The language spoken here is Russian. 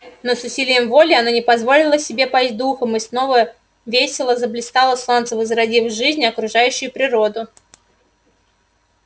но с усилием воли она не позволила себе пасть духом и снова весело заблистало солнце возродив жизнь окружающую природу